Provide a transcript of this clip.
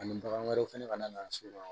Ani bagan wɛrɛw fana ka na so